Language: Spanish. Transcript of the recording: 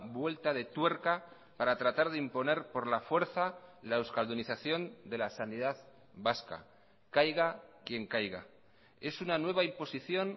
vuelta de tuerca para tratar de imponer por la fuerza la euskaldunización de la sanidad vasca caiga quien caiga es una nueva imposición